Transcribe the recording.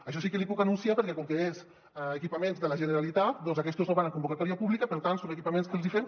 això sí que l’hi puc anunciar perquè com que és equipaments de la generalitat doncs aquests no van en convocatòria pública i per tant són equipaments que els hi fem